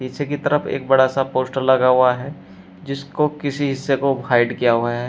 पीछे की तरफ एक बड़ा सा पोस्टर लगा हुआ है जिसको किसी हिस्से को हाइड किया हुआ है।